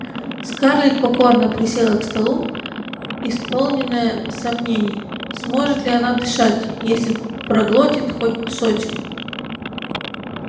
скарлетт покорно присела к столу исполненная сомнений сможет ли она дышать если проглотит хоть кусочек